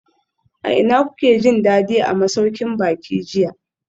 A ina kuke jin dadi a masaukin baki jiya?